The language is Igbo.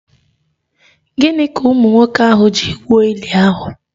Gịnị ka ụmụ nwoke ahụ ji gwuo ili ahụ?